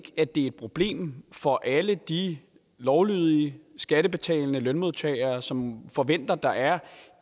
at det er et problem for alle de lovlydige skattebetalende lønmodtagere som forventer at der er